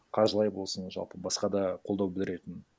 қаржылай болсын жалпы басқа да қолдау білдіретін